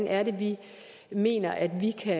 at vi mener at vi kan